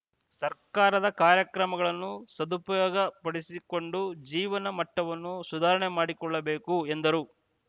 ಸರ್ಕಾರದ ಕಾರ್ಯಕ್ರಮಗಳನ್ನು ಸದುಪಯೋಗಪಡಿಸಿಕೊಂಡು ಜೀವನ ಮಟ್ಟವನ್ನು ಸುಧಾರಣೆ ಮಾಡಿಕೊಳ್ಳಬೇಕು ಎಂದರು